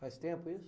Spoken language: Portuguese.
Faz tempo isso?